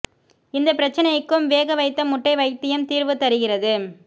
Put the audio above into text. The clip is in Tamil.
இந்த பிரச்சினைக்கும் வேக வைத்த முட்டை வைத்தியம் தீர்வு தருகிறது